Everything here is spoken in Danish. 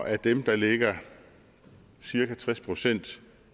af dem ligger cirka tres procent